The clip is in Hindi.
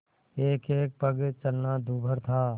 एकएक पग चलना दूभर था